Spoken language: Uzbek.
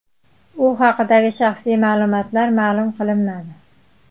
U haqdagi shaxsiy ma’lumotlar ma’lum qilinmadi.